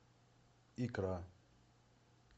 икра